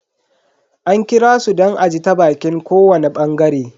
An kirasu don a ji ta baƙin kowani bangare.